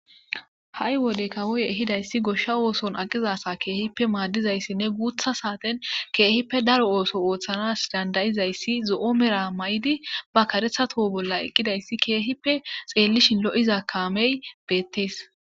Ha'i wode kawoye ehidayssi goshsha ooson aqizasa keehippe maaddizayssinne guutha saaten keehippe daro ooso ooththanas dandayizayssi zo7o mera may7di ba karethato bolla eqqidayssi keehippe xeellishin lo7iza kaamey beettees